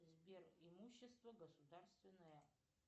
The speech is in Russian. сбер имущество государственное